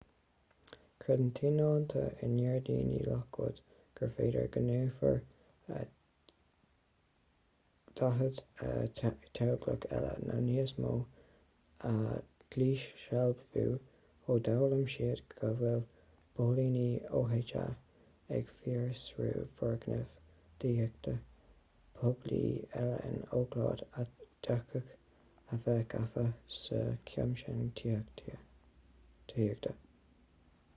creideann tionóntaí i ngairdíní lockwood gur féidir go ndéanfar 40 teaghlach eile nó níos mó a dhíshealbhú ó d'fhoghlaim siad go bhfuil póilíní oha ag fiosrú foirgnimh tithíochta poiblí eile in oakland a d'fhéadfadh a bheith gafa sa chamscéim tithíochta